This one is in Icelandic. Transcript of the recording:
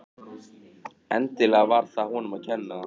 Gríðarhá eldfjöll bera þess merki.